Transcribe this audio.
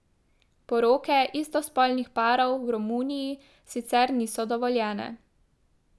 Poroke istospolnih parov v Romuniji sicer niso dovoljene.